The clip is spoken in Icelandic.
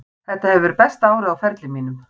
Þetta hefur verið besta árið á ferli mínum.